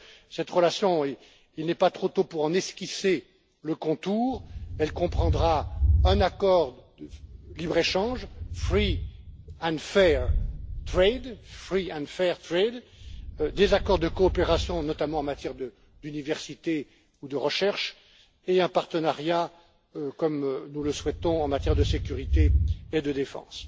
Cette relation il n'est pas trop tôt pour en esquisser le contour comprendra un accord de libre échange, free and fair trade des accords de coopération, notamment en matière de d'universités ou de recherche, et un partenariat, comme nous le souhaitons, en matière de sécurité et de défense.